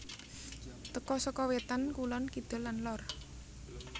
Teka saka wetan kulon kidul lan lor